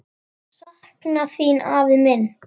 Sakna þín, afi minn.